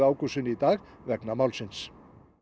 Ágústsson í dag vegna málsins